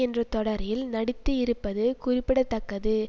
என்ற தொடரில் நடித்து இருப்பது குறிப்பிடதக்கதுஇவர்